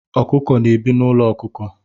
Ọkụkọ na-ebi n'ụlọ ọkụkọ